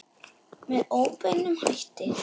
Með óbeinum hætti.